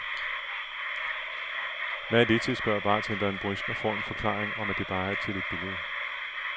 Hvad er det til, spørger bartenderen brysk og får en forklaring om, at det bare er til et billede.